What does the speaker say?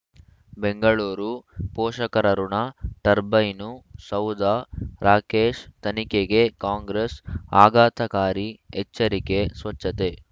ಬೆಂಗಳೂರು ಪೋಷಕರಋಣ ಟರ್ಬೈನು ಸೌಧ ರಾಕೇಶ್ ತನಿಖೆಗೆ ಕಾಂಗ್ರೆಸ್ ಆಘಾತಕಾರಿ ಎಚ್ಚರಿಕೆ ಸ್ವಚ್ಛತೆ